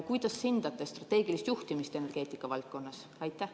Kuidas hindate strateegilist juhtimist energeetika valdkonnas?